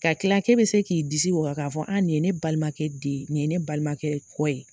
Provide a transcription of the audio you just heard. Ka kila k'e bi se k'i disi waga k'a fɔ, aa nin ye ne balimakɛ den ye , nin ye ne balimakɛ kɔ ye.